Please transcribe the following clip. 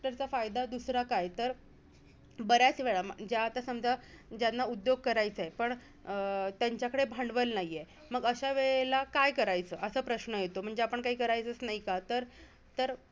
तर त्यांचा फायदा दुसरा काय? तर बऱ्याचं वेळा ज्या आता समजा ज्यांना उद्योग करायचां आहे. पण अं त्यांच्याकडे भांडवल नाहीये, मग अशा वेळेला काय करायचं? असा प्रश्न येतो म्हणजे आपण काही करायचचं नाही का? तर